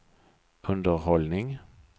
underhållning